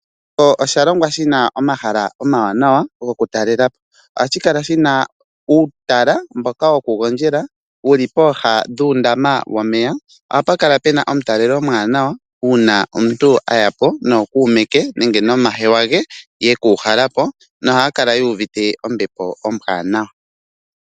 Osha longwa shi na omahala omawanawa goku talela po. Ohashi kala shi na uutala mboka woku gondjela wuli pooha dhuundama womeya. Oha pu kala puna omutalelo omuwanawa, uuna omuntu a ya po nookuume ke nenge nomahewa ge ye kuuhala po nohaya kala yu uvite ombepo ombwaanawa.